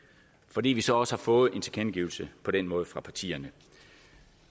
fordi vi så også har fået en tilkendegivelse på den måde fra partierne